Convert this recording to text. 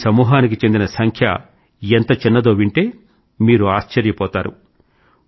ఈ సమూహానికి చెందిన సంఖ్య ఎంత చిన్నదో వింటే మీరు ఆశ్చర్యపోయారు